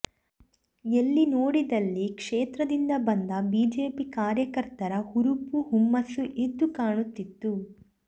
ಎಲ್ಲಿ ನೋಡಿದಲ್ಲಿ ಕ್ಷೇತ್ರದಿಂದ ಬಂದ ಬಿಜೆಪಿ ಕಾರ್ಯಕರ್ತರ ಹುರುಪು ಹುಮ್ಮಸ್ಸು ಎದ್ದು ಕಾಣುತ್ತಿತ್ತು